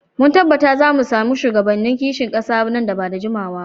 Mun tabbata za mu sami shugabannin kishin kasa nan ba da jimawa ba.